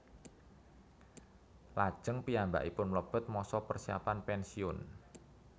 Lajeng piyambakipun mlebet masa persiapan pensiun